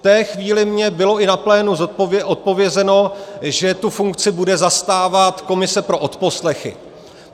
V té chvíli mi bylo i na plénu odpovězeno, že tu funkci bude zastávat komise pro odposlechy.